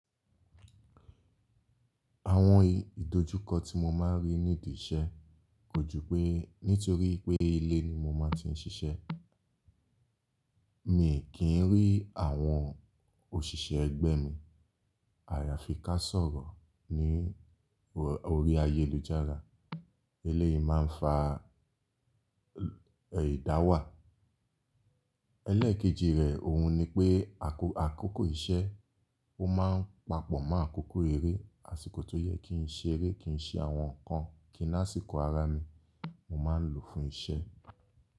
Àwọn ìdojúkọ tí mo máa ń rí níbí iṣẹ́ kò ju pé nítorí pé ilé ni mo máa ti ń ṣiṣẹ́. Mi kì í rí àwọn òṣìṣẹ́ ẹgbẹ́ mi. Àyàfi ká sọ̀rọ̀ ní orí ayélujára. Ilé yìí máa ń fa ìdáwàá. Elẹ́ẹ̀kejì rẹ̀ ohun ni pé àkókò iṣẹ́, ó máa ń papọ̀ mọ́ àkókò eré. Àṣìkò tó yẹ kí n ṣe eré, kí n ṣe àwọn nǹkan, kí ní àsìkò ara mi mo máa ń lò fún iṣẹ́.